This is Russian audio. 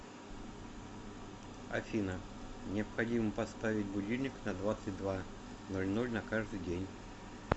афина необходимо поставить будильник на двадцать два ноль ноль на каждый день